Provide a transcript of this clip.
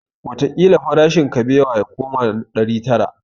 Wataƙila farashin kabewa ya koma ɗari tara